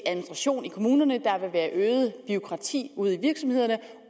kommunerne der vil være øget bureaukrati ude i virksomhederne